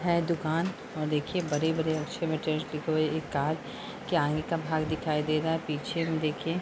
है दुकान देखिए बड़े-बड़े आगे का भाग दिखाई दे रहा है। पीछे देखिए --